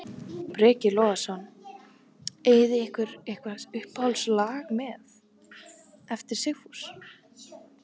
Breki Logason: Eigið þið ykkur eitthvað uppáhalds lag með, eftir Sigfús?